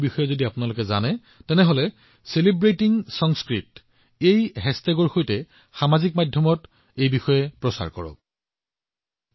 বন্ধুসকল যদি আপুনি এনে প্ৰচেষ্টাৰ সৈতে জড়িত কাৰোবাক জানে আপোনাৰ ওচৰত এনে কোনো তথ্য আছে অনুগ্ৰহ কৰি চেলিব্ৰেটিংচাংস্কৃত সৈতে তেওঁলোকৰ বিষয়ে তথ্য ছচিয়েল মিডিয়াত ভাগ বতৰা কৰক